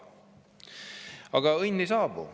Aga õnn ei saabu.